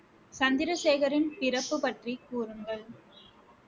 சந்திரசேகரின் பிறப்பு பற்றி கூறுங்கள்